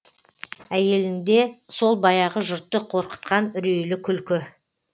әйелінде сол баяғы жұртты қорқытқан үрейлі күлкі